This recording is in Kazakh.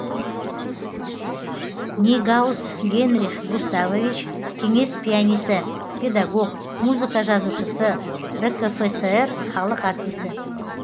нейгауз генрих густавович кеңес пианисі педагог музыка жазушысы ркфср халық артисі